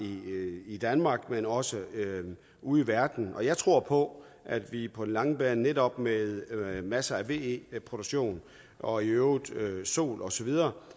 i danmark men også ude i verden jeg tror på at vi på den lange bane netop med masser af ve produktion og i øvrigt sol og så videre